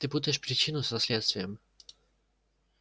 ты путаешь причину со следствием